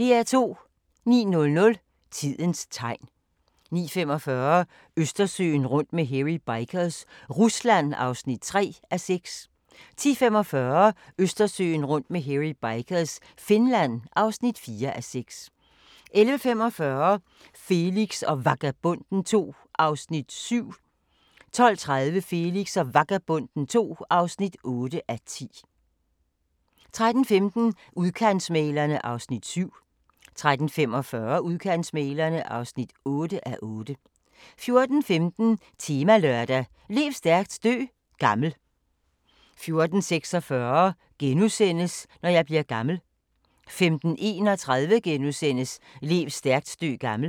09:00: Tidens tegn 09:45: Østersøen rundt med Hairy Bikers – Rusland (3:6)* 10:45: Østersøen rundt med Hairy Bikers – Finland (4:6) 11:45: Felix og Vagabonden II (7:10) 12:30: Felix og Vagabonden II (8:10) 13:15: Udkantsmæglerne (7:8) 13:45: Udkantsmæglerne (8:8) 14:15: Temalørdag: Lev stærkt, dø gammel 14:16: Når jeg bliver gammel * 15:31: Lev stærkt, dø gammel *